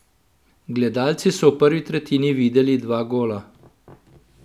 Gledalci so v prvi tretjini videli dva gola.